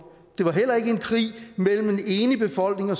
det var heller ikke en krig mellem en enig befolkning og